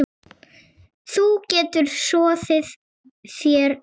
Þú getur soðið þér egg